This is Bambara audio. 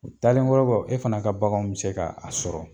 O taalen kɔrɔkɔ e fana ka baganw mi se ka a sɔrɔ.